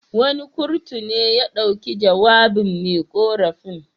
Wani kurtu ne ya dauki jawabin me ƙorafin.